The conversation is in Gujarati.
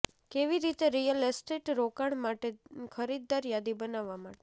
કેવી રીતે રિયલ એસ્ટેટ રોકાણ માટે ખરીદદાર યાદી બનાવવા માટે